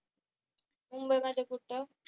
मुंबईमध्ये कुठ?